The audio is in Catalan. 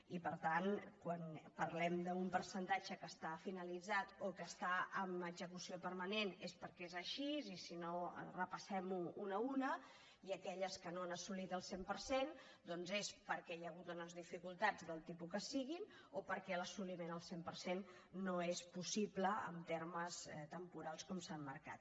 i per tant quan parlem d’un percentatge que està finalitzat o que està en execució permanent és perquè és així i si no repassemles una a una i aquelles que no han assolit el cent per cent doncs és perquè hi ha hagut unes dificultats del tipus que sigui o perquè l’assoliment al cent per cent no és possible en termes temporals com s’han marcat